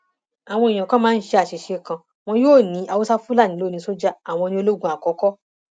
àwọn èèyàn kan máa ń ṣe àṣìṣe kan wọn yóò ní àwọn haúsáfúnálì ló ní sójà àwọn ní ológun àkọkọ